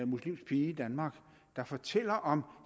muslimsk pige i danmark der fortæller om